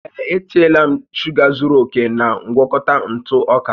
Ee, e tinyela m shuga zuru oke na ngwakọta ntụ ọka